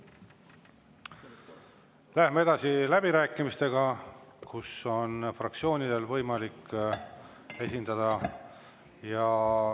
Läheme edasi läbirääkimistega, kus on võimalik esineda fraktsioonidel.